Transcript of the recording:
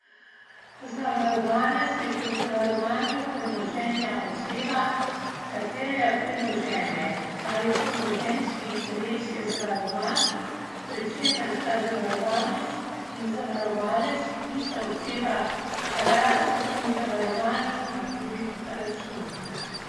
Zavarovanec je pri zavarovanju premoženja oseba, katerega premoženje ali premoženjski interes je zavarovan, pri čemer sta zavarovanec in zavarovalec ista oseba, razen pri zavarovanju na tuj račun.